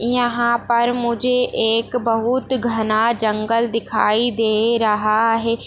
यहाँ पर मुझे एक बहुत घना जंगल दिखाई दे रहा है।